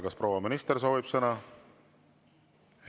Kas proua minister soovib sõna?